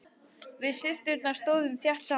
Við systurnar stóðum þétt saman.